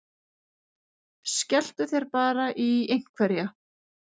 Skelltu þér bara í einhverja!